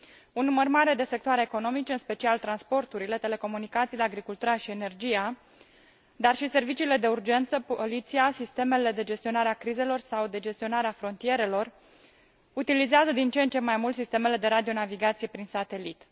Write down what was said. Un număr mare de sectoare economice, în special transporturile, telecomunicațiile, agricultura și energia, dar și serviciile de urgență, poliția, sistemele de gestionare a crizelor sau de gestionare a frontierelor utilizează din ce în ce mai mult sistemele de radionavigație prin satelit.